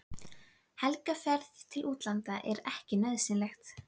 Helgarferð til útlanda er ekki nauðsynleg.